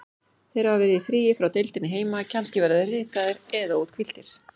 Þeir hafa verið í fríi frá deildinni heima, kannski verða þeir ryðgaðir eða úthvíldir.